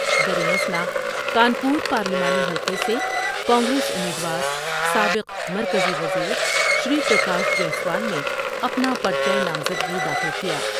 در یں اثناء کانپور پارلیمانی حلقے سے کانگریس امید وار سابق مرکزی وزیر شری پرکاش جیسوال نے اپنا پر چہ نامزدگی داخل کیا ۔